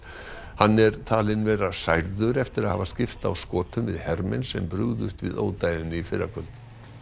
hann er talinn vera særður eftir að hafa skipst á skotum við hermenn sem brugðust við ódæðinu í fyrrakvöld